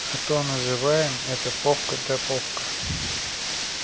а то называем это попка да попка